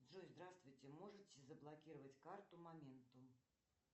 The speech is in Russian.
джой здравствуйте можете заблокировать карту моментум